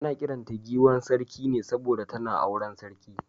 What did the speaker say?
Ana kiran ta giwar Sarki ne saboda tana auren sarki.